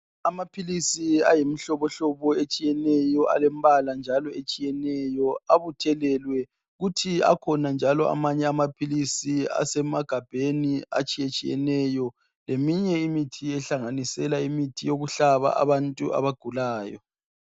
Amaphilisi ayimihlobohlobo etshiyeneyo alembala njalo etshiyeneyo abuthelelwe kuthi akhona njalo amanye amaphilisi asemagabheni atshiyetshiyeneyo leminye imithi ehlanganisela imithi yokuhlaba abantu abagulayo